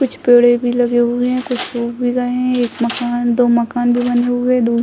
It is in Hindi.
कुछ पेड़े भी लगे हुए है कुछ सुख भी गए है एक मकान दो मकान भी बने हुए है दो --